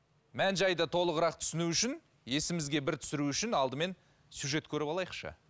мән жайды толығырақ түсіну үшін есімізге бір түсіру үшін алдымен сюжет көріп алайықшы